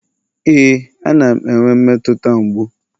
ee, a na m enwe mmetụta mgbu